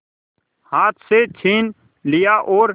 हाथ से छीन लिया और